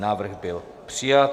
Návrh byl přijat.